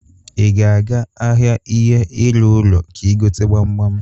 I ga aga ahịa ihe ịrụ ụlọ ka I gote gbamgbam?